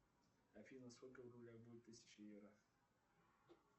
афина сколько в рублях будет тысяча евро